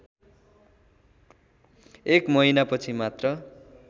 एक महिनापछि मात्र